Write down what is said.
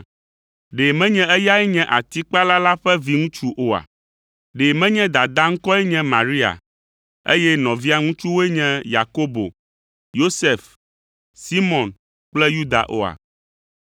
Ɖe menye eyae nye atikpala la ƒe viŋutsu oa? Ɖe menye dadaa ŋkɔe nye Maria, eye nɔvia ŋutsuwoe nye Yakobo, Yosef, Simɔn kple Yuda oa?